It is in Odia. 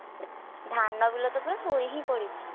ଧାନ ବିଲ ତ ପୁରା ଶୋଇହିଁ ପଡିଛି,